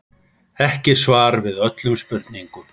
Ekki svar við öllum spurningum